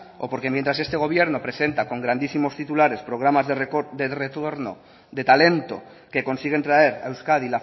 o porque mientras este gobierno presenta con grandísimos titulares programas de retorno de talento que consiguen traer a euskadi